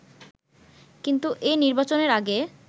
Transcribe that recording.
কিন্তু এ নির্বাচনের আগে